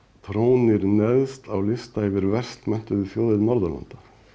trónir neðst á lista yfir verst menntuðu þjóðir Norðurlanda